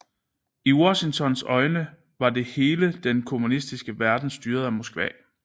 I Washingtons øjne var hele den kommunistiske verden styret af Moskva